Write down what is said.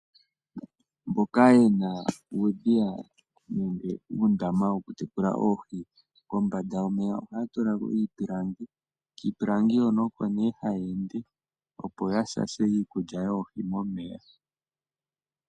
Mboka yena uudhiya nenge uundama wokutekula oohi, kombanda yomeya ohaya tulako iipilangi. Kiipilangi hono oko nee hayeende opo yashashe iikulya yoohi momeya.